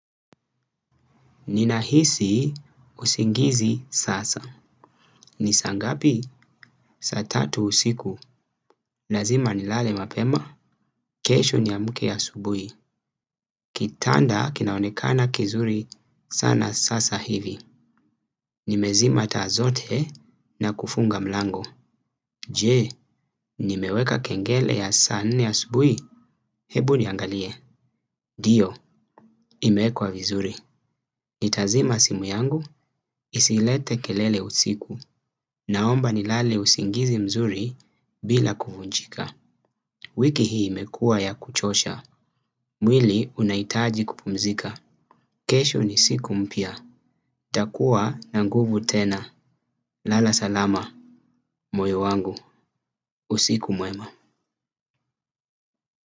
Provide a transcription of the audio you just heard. Ninahisi usingizi sasa. Ni saangapi? Saa tatu usiku. Lazima nilale mapema. Kesho niamke asubuhi. Kitanda kinaonekana kizuri sana sasa hivi. Nimezima taa zote na kufunga mlango. Je, nimeweka kengele ya saa nne asubuhi? Hebu niangalie. Ndio, imewekwa vizuri. Nitazima simu yangu, isilete kelele usiku, naomba nilale usingizi mzuri bila kuvunjika. Wiki hii imekua yakuchosha, mwili unahitaji kupumzika. Kesho ni siku mpya, nitakua na nguvu tena. Lala salama, moyo wangu, usiku mwema.